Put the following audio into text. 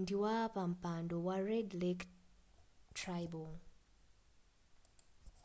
ndiwapampando wa red lake tribal